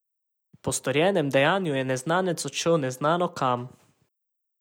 Po storjenem dejanju je neznanec odšel neznano kam.